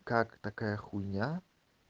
как такая хуйня